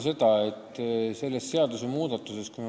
Aitäh!